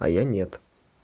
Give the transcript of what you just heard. а я нет